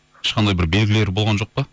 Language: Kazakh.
ешқандай бір белгілері болған жоқ па